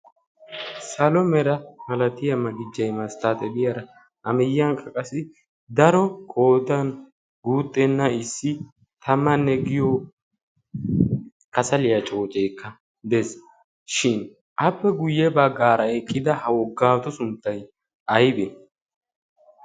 salo mera malatiyaa magijjeimaa sttaaxabiyaara amiyyiyan qaqasi daro koodan guutxenna issi tamanne giyo kasaliyaa cooceekka dees shin appe guyye baggaara eqqida ha woggaatu sunttay aybe?